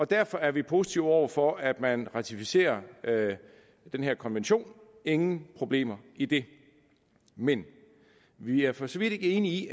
derfor er vi positive over for at man ratificerer den her konvention ingen problemer i det men vi er for så vidt ikke enige i